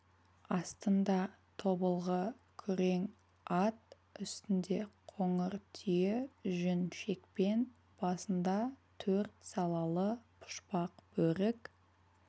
астында тобылғы күрең ат үстінде қоңыр түйе жүн шекпен басында төрт салалы пұшпақ бөрік